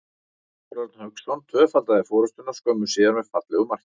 Óskar Örn Hauksson tvöfaldaði forystuna skömmu síðar með fallegu marki.